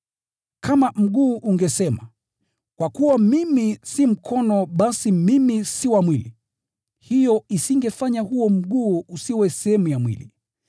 Kama mguu ungesema, “Kwa kuwa mimi si mkono basi mimi si wa mwili,” hiyo isingefanya huo mguu usiwe sehemu ya mwili.